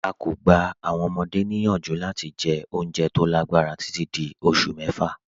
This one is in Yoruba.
À kọ́ gbà àwọn ọmọde niyanju lati jẹ́ ọ̀unjẹ́ tó lágbarà tití dí ọṣù mẹ́fà.